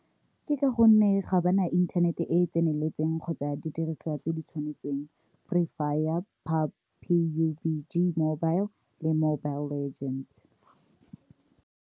Ke ka gonne ga ba na inthanete e e tseneletseng kgotsa didiriswa tse di tshwanetseng, Free Fire, Pub, P_U_B_G mobile le Mobile Legend.